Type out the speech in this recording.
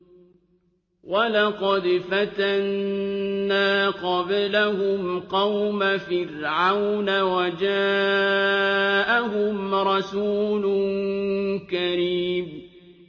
۞ وَلَقَدْ فَتَنَّا قَبْلَهُمْ قَوْمَ فِرْعَوْنَ وَجَاءَهُمْ رَسُولٌ كَرِيمٌ